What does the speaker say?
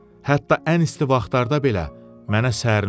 Hətta ən isti vaxtlarda belə mənə sərin olur.